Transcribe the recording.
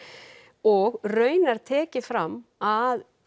og raunar tekið fram að